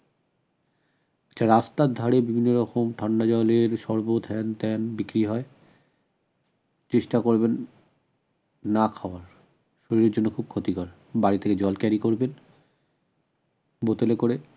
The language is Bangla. রাস্তার ধারে বিভিন্ন রকম ঠান্ডা জলের শরবত হ্যানত্যান বিক্রি হয় চেষ্টা করবেন না খাওয়ার শরীরের জন্য খুব ক্ষতিকর বাড়ি থেকে জল carry করবেন বোতলে করে